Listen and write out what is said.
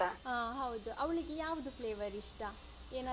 ಅಹ್ ಹೌದು ಅವಳಿಗೆ ಯಾವ್ದು flavour ಇಷ್ಟ ಏನಾದ್ರು.